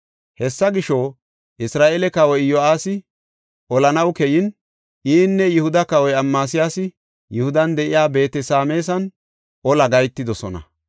Hessa gisho, Isra7eele kawoy Iyo7aasi olanaw keyin inne Yihuda kawoy Amasiyaasi Yihudan de7iya Beet-Sameesan ola gahetidosona.